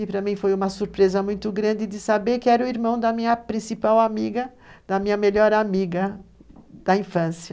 E para mim foi uma surpresa muito grande de saber que era o irmão da minha principal amiga, da minha melhor amiga da infância.